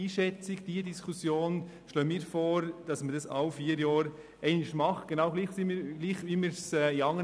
Wir schlagen vor, dass die Diskussion zu diesem Kurzbericht alle vier Jahre stattfindet.